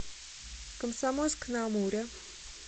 комсомольск на амуре